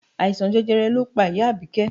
Àìsàn jẹjẹrẹ ló pa ìyá Abike